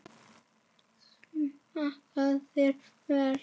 Smakkast þetta vel?